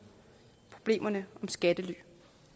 problemerne med skattely